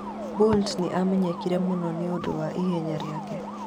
Bolt nĩ aamenyekire mũno nĩ ũndũ wa ihenya rĩake.